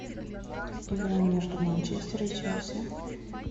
игра между манчестер и челси